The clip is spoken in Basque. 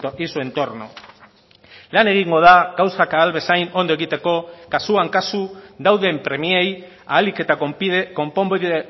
y su entorno lan egingo da gauzak ahal bezain ondo egiteko kasuan kasu dauden premiei ahalik eta konponbide